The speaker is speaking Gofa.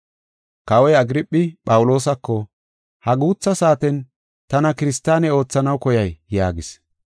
Kawoy Agirphi, Phawuloosako, “Ha guutha saaten tana kiristaane oothanaw koyay?” yaagis.